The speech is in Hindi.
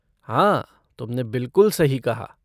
हाँ, तुमने बिलकुल सही कहा।